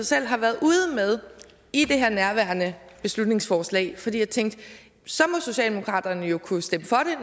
selv har været ude med i nærværende beslutningsforslag fordi jeg tænkte at så må socialdemokraterne jo kunne stemme